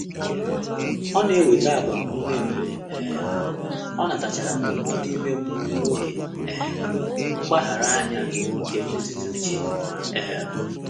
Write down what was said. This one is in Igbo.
Ọ́ nà-ènwétá ágbàmụ́mụ́ mgbè um ọ́ nàtàchàrà ndụ́mọ́dụ́ ímé mmụ́ọ́ n’ógè um mgbàghàrà ányá nké mmétụ́tà úchè. um